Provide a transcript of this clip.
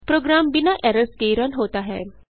programme बिना errors के run होता है